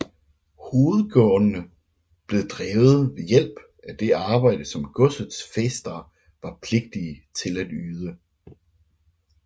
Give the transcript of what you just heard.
Hovedgårdene blev drevet ved hjælp af det arbejde som godsets fæstere var pligtige til at yde